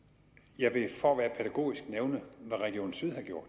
jeg vil for at være pædagogisk nævne hvad region syddanmark